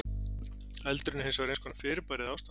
Eldurinn er hins vegar eins konar fyrirbæri eða ástand.